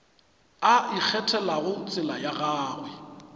a ikgethelago tsela ya gagwe